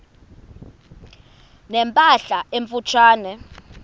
ne mpahla emfutshane